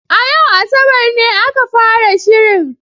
A yau Asabar ne aka fara shirin.